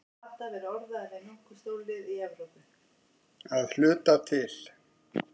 Að hluta til.